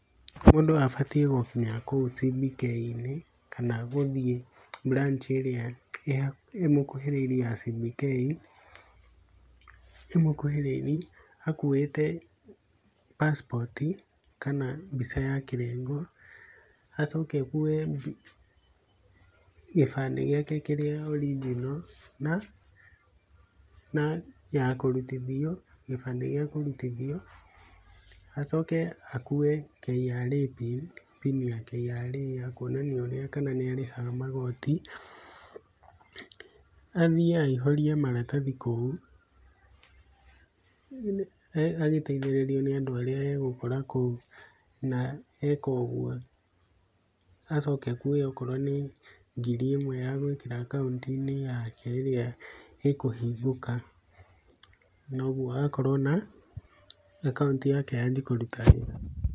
Mũndũ abatiĩ gũkinya kou CBK inĩ kana gũthiĩ branch ĩrĩa ĩmũkuhĩrĩirie ya CBK ĩmũkuhĩrĩirie akuĩte passport kana mbica ya kĩrengo, acoke akue gĩbandĩ gĩake kĩrĩa original na ya kũrutithio, gĩbandĩ gĩa kũrutithio, acoke akue KRA pin, pini ya KRA ya kuonania ũrĩa kana nĩ arĩhaga magoti, athiĩ aihũrie maratathi kou, agĩteithĩrĩrio nĩ andũ arĩa agũkora kou na eka ũguo acoke akue okorwo nĩ ngiri ĩmwe ya gwĩkĩra akaũnti-inĩ yake ĩrĩa ĩkũhingũka, na ũguo akorwo na akaũnti yake yanjie kũruta wĩra.